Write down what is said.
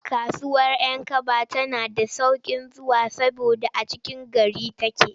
Kasuwar 'Yankaba tana da sauƙin zuwa saboda a cikin gari take.